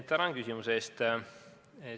Tänan küsimuse eest!